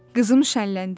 Qızım şənləndi.